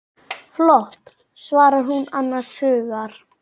Flott, svarar hún annars hugar.